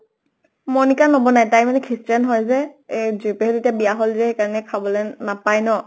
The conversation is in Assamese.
মনিকাই নবনাই । তাই মানে christian হয় যে । এই তে বিয়া হʼল যে, সেইকাৰণে খাবলৈ নাপায় ন ?